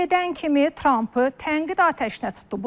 Elə gedən kimi Trampı tənqid atəşinə tutdu.